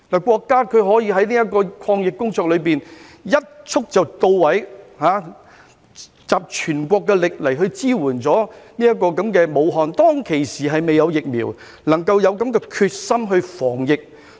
國家可以在抗疫工作中一蹴而就，集全國之力支援武漢，當時雖然還未有疫苗，但卻有這種決心防疫。